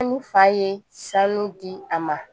fa ye sanu di a ma